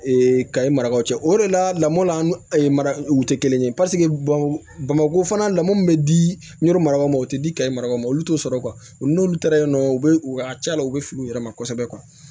kayi marakaw cɛ o de la lamɔ la an ma u tɛ kelen ye paseke bamako fana lamɔ min bɛ di n'o marabagaw ma o tɛ di ka marabagaw ma olu t'o sɔrɔ n'olu taara yen nɔ u bɛ u ka ca la u bɛ fili u yɛrɛ ma kosɛbɛ